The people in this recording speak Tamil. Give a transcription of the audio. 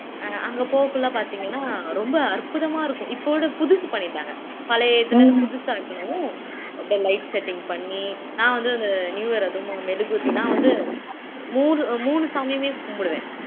அங்க போகக்குள்ள பாத்தீங்கன்னா ரொம்ப அற்புதமா இருக்கும் இப்ப விட புதுசு பண்ணிட்டாங்க பழைய இதுல புதுசா பண்ணுவோம் அப்படியே light setting பண்ணி நான் வந்து அந்த நியூ இயர் அதுவும் மெழுகுவர்த்தியெல்லாம் நான் வந்து மூணு மூணு சாமியுமே கும்பிடுவேன்